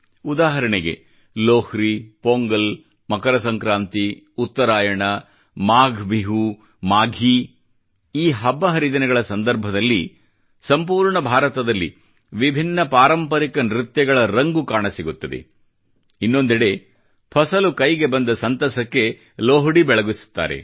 ಉದಾಹರಣೆಗೆ ಲೊಹ್ರಿ ಪೊಂಗಲ್ ಮಕರ ಸಂಕ್ರಾಂತಿ ಉತ್ತರಾಯಣ ಮಾಘ ಬಿಹು ಮಾಘೀ ಈ ಹಬ್ಬ ಹರಿದಿನಗಳ ಸಂದರ್ಭದಲ್ಲಿ ಸಂಪೂರ್ಣ ಭಾರತದಲ್ಲಿ ವಿಭಿನ್ನ ಪಾರಂಪರಿಕ ನೃತ್ಯಗಳ ರಂಗು ಕಾಣಸಿಗುತ್ತದೆ ಇನ್ನೊಂದೆಡೆ ಫಸಲು ಕೈಗೆ ಬಂದ ಸಂತಸಕ್ಕೆ ಲೊಹ್ಡಿ ಬೆಳಗಿಸುತ್ತಾರೆ